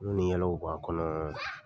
Kulon ni yɛlɛw b'a kɔnɔ